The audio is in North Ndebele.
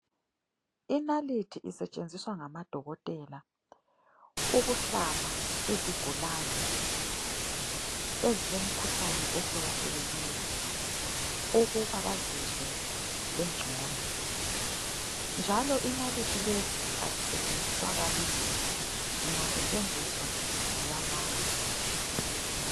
Inalithi isetshenziswa ngamadokotela ukuhlaba izigulane ezilemkhuhlane ehlukahlukeneyo ukuba bazizwe bengcono ,njalo inalithi lezi azisetshenziswa kabili ,zingasetshenziswa ziyalahlwa